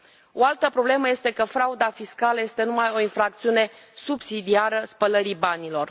O altă problemă este că frauda fiscală este numai o infracțiune subsidiară spălării banilor.